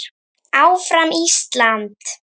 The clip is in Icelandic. ÁFRAM ÍSLAND!